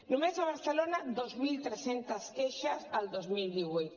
només a barcelona dos mil tres cents queixes el dos mil divuit